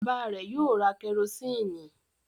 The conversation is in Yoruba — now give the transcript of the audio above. Bàbá rẹ̀ yóò ra kẹrósíínì.